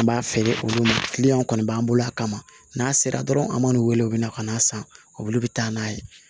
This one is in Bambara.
An b'a feere olu ma kɔni b'an bolo a kama n'a sera dɔrɔn an m'u wele u bɛ na ka n'a san olu bɛ taa n'a ye